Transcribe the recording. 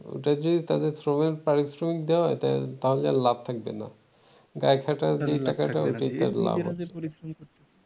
ওটা যদি তাদের শ্রম এর পারিশ্রমিক দেওয়া হয় তাহলে আর লাভ থাকবে না গায়ে খাটা যে টাকাটা সেটা লাভ হবে